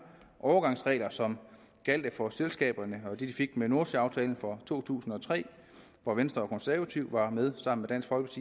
overgangsregler som gjaldt for selskaberne og det de fik med nordsøaftalen for to tusind og tre hvor venstre og konservative var med sammen